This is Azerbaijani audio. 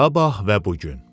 Sabah və bu gün.